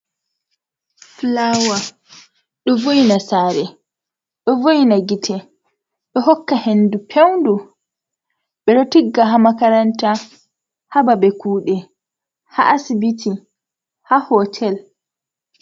Fulaawa ɗo vo`ina saare, ɗo vo'ina gite, ɗo hokka henndu peewndu, ɓe ɗo tigga haa makaranta , haa babe kuuɗe, haa asibiti, haa hotel.